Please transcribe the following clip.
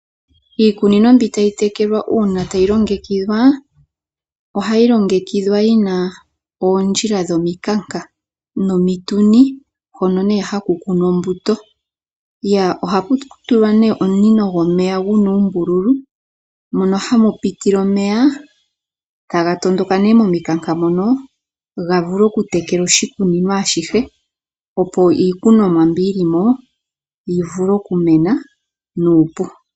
Iikunino mbyoka tayi tekelwa uuna tayi longekidhwa, ohayi longekidhwa yi na oondjila dhomikanka nomituni hono haku kunwa ombuto. Ohaku tulwa omunino gu na uumbululu mono hamu pitile omeya taga tondoka nduno momikanka mono ga vule okutekela oshikunino ashihe, opo iikunomwa mbi yi li mo yi vule okumena nuupu.